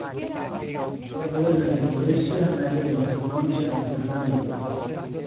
ore Laryngomalacia naa keidim aisababisha enchurtakinoto.